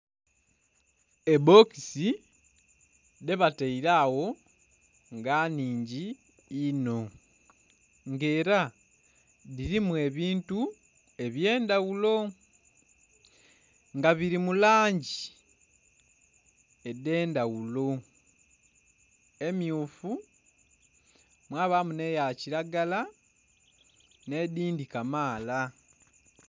Ebbokisi dhebataire agho nga nhingi inho nga era dhirimu ebintu ebyendhaghulo nga biri mu langi edhendhaghulo emmyufu, mwabamu n'eya kiragala n'edhindhi kamaala.